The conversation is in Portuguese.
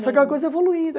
Só que a coisa evoluída.